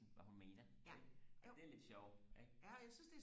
hvad hun mener ikke og det er lidt sjovt ikke